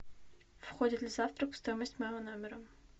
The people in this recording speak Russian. входит ли завтрак в стоимость моего номера